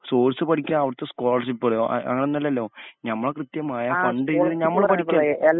source പഠിക്കാ അവിടുത്തെ scholarship കളോ അ അങ്ങനൊന്നല്ലല്ലോ ഞമ്മള് കൃത്യം ആയ ഫണ്ടിന്ന് ഞമ്മള് പിടിക്കാ